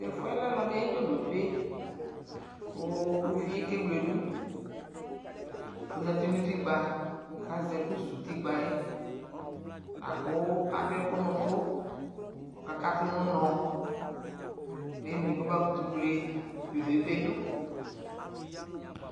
Tɛfuɛ lɛ alɔde aye dzodope ko uvie ke wledu Ozati no utikpa kazɛ ɛku su utikpaɛ ko ado ɛku no uto kɔ kato no unɔ Mɛmli kɔ ba koto wle dzodope do